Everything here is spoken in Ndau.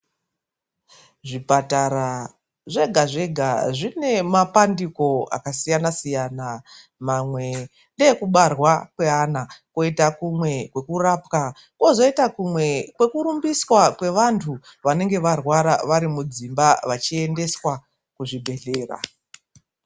Zvipatara zvega-zvega zvine mapandiko akasiyana-siyana, mamwe ndeekubarwa kweana, koita kumwe kwekurapwa, kozoita kumwe kwekurumbiswa kweantu vanenge varwara vari mudzimba vachiendeswa kuzvibhedhlera.